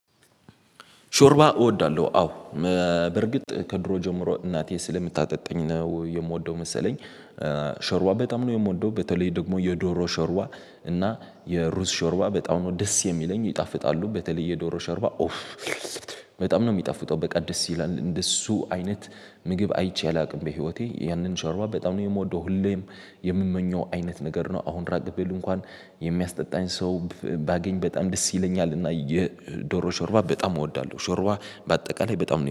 ሾርባ እወዳለሁ አዎ፤ በርግጥ ከድሮ ጀምሮ እናቴ ስለምታጠጣኝ ነው የምወደው መሰለኝ። ሾርባ በጣም ነው የምወደው። በተለይ ደግሞ የዶሮ ሾርባ እና የሩዝ ሾርባ በጣም ነው ደስ የሚለኝ፤ ይጣፍጣሉ በተለይ የዶሮ ሾርባ በጣም ነው የሚጣፍጠው፤ በቃ ደስ ይላል። እንደሱ አይነት ምግብ አይቼ አላውቅም በህይወቴ፤ ያንን ሻርባ በጣም ነው የምወደው። ሁሌም የምመኘው አይነት ነገር ነው። አሁን ራቅ ብል እንኳን የሚያስጠጣኝ ሰው ባገኝ በጣም ደስ ይለኛል፤ እና የዶሮ ሾርባ በጣም እወዳለሁ። ሾርባ በአጠቃላይ በጣም